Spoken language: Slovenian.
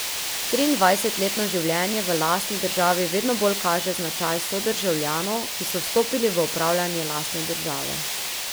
Triindvajsetletno življenje v lastni državi vedno bolj kaže značaj sodržavljanov, ki so vstopili v upravljanje lastne države.